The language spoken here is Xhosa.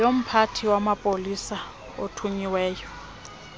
yomphathi wamapolisa othunyiweyo